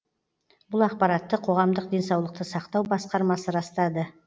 бұл ақпаратты қоғамдық денсаулықты сақтау басқармасы растады